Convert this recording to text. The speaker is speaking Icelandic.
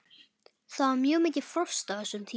Það var mjög mikið frost á þessum tíma.